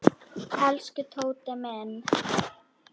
Elsku Tóti minn.